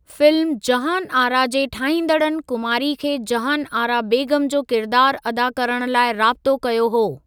Film Jahan Ara जे ठाहीन्दड़नि कुमारी खे जहान आरा बेगम जो किरिदारु अदा करण लाइ राबत़ो कयो हो।